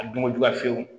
A dunko juguya fiyewu